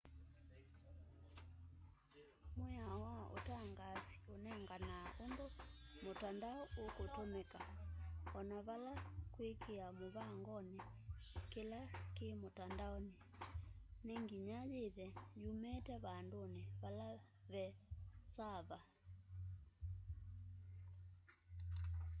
mwĩao wa ũtangaasi ũnenganaa ũndũ mũtandao ũkũtũmĩka ona vala kwĩkĩa mũvangonĩ kĩla kĩ mũtandaonĩ nĩ nginya yĩthe yumĩte vandũnĩ vala ve saava